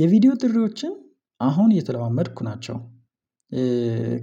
የቪዲዮ ጥሪዎችን አሁን እየተለማመድኩ ናቸው።